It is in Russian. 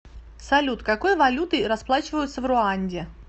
салют какой валютой расплачиваются в руанде